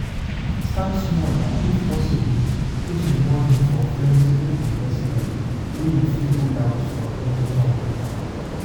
Start small and if possible put di money for flexible investment wey you fit pull out from anytime